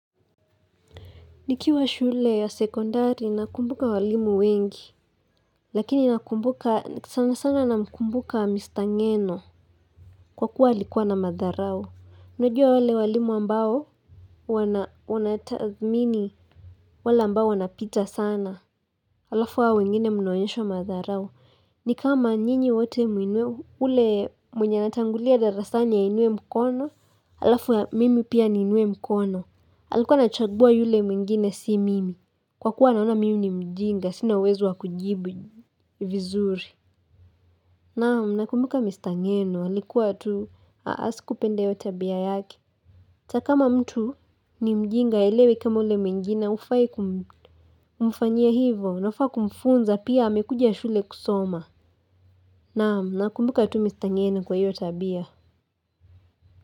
Nikiwa shule ya sekondari nakumbuka walimu wengi, lakini nakumbuka sana sana namkumbuka mr ngeno kwa kuwa alikuwa na madharau unajua wale walimu ambao wanathatmini wala ambao wanapita sana. Alafu wa wengine mnaonyeshowamadharau ni kama nyinyi wote ule mwenye natangulia darasani ainue mkono, alafu ya mimi pia inue mkono. Alikuwa anachagua yule mwingine si mimi Kwa kuwa naona mimi ni mjinga sina uwezo wakujibu vizuri Naamu nakumbuka mistangenu halikuwa tu Haasi kupenda yotabia yake atakama mtu ni mjinga aelewi kama ule mwingine hufai kumfanyia hivo na ufaa kumfunza pia amekuja shule kusoma Naamu nakumbuka tu mistangenu kwa yotabia.